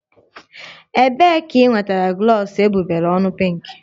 Ebee ka i nwetara glọs egbugbere ọnụ pinkị?